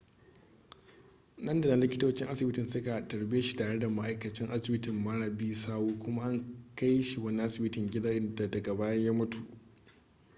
nan da nan likitocin asibitin suka tarbe shi tare da ma'aikacin asibiti mara bi sawu kuma an kai shi wani asibitin gida inda daga baya ya mutu